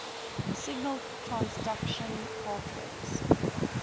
signal transduction pathways